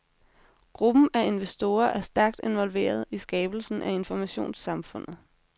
Gruppen af investorer er stærkt involveret i skabelsen af informationssamfundet.